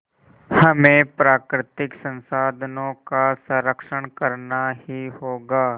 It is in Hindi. हमें प्राकृतिक संसाधनों का संरक्षण करना ही होगा